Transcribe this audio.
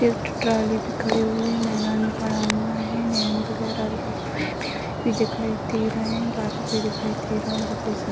एक ट्रॉली भी खड़ी हुई है मैदान में पड़ा हुआ है वैन वगेरा भी खड़ी हुई है पेड़ भी दिखाई दे रहे है बादल भी दिखाई दे रहा है सफ़ेद-सफ़ेद।